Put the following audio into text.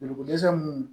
Joliko dɛsɛ mun